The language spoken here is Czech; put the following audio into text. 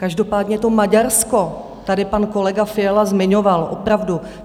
Každopádně to Maďarsko tady pan kolega Fiala zmiňoval opravdu.